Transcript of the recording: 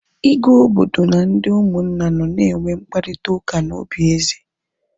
Igwe obodo na ndị ụmụnna nọ na enwe mkparịta ụka na obi eze